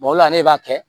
o la ne b'a kɛ